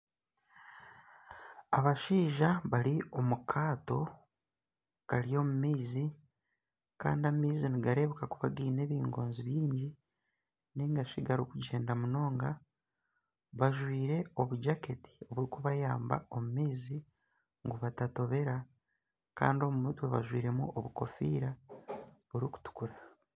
Abashaija bari omu kaato kari omu maizi, kandi amaizi nigarebeeka kuba gaine ebingoonzi byingi, ningashi garikugyenda munonga, bajwaire obujaketi burikubayamba omu maizi ngu batatobera kandi omu mutwe bajwairemu obukofiira burikutukura.